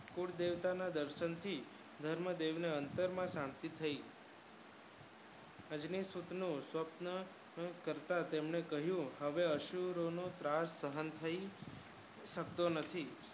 ખુબ દર્શન ના દર્શન થી યંગ દેવી ને અત્તર માં શાંતિ થય અજમેર ને સુપ્ત થતા કહ્યું હવે અસુરોનો ત્રાસ સહન કરી સફળ થઈ શકતો નથી